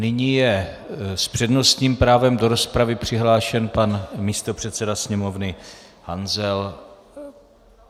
Nyní je s přednostním právem do rozpravy přihlášen pan místopředseda Sněmovny Hanzel.